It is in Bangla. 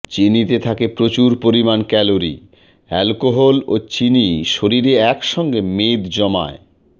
চিনিতে থাকে প্রচুর পরিমাণ ক্যালোরি অ্যালকোহল ও চিনি শরীরে একসঙ্গে মেদ জমায়